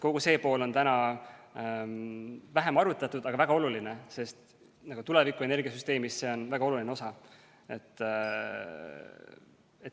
Kogu seda poolt on praegu vähem arutatud, aga see on väga oluline, sest tulevikuenergia süsteemis on see väga oluline osa.